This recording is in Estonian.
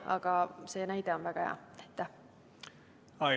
Aga see näide oli väga hea.